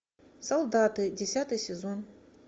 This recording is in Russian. солдаты десятый сезон